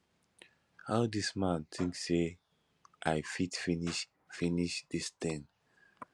how dis man think say i fit finish finish dis thing